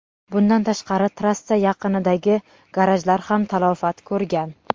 Bundan tashqari, trassa yaqinidagi garajlar ham talafot ko‘rgan.